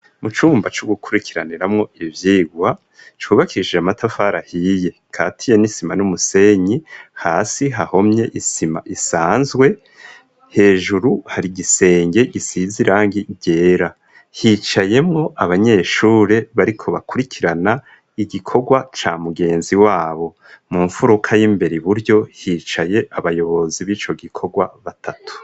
Mu cumba co gukwirikiraniramwo ivyirwa , cubakishijwe n'amatafari ahiye gikatiye n'isima n'umusenyi, hasi hahomye isima isanzwe, hejuru hari igisenge gisize irangi ryera. Hicayemwo abanyeshure bariko bakwirikirana igikorwa ca mugenzi wabo. Mu nfuruka y' imbere i buryo hicaye abayobozi bico gikorwa batatu.